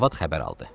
Arvad xəbər aldı.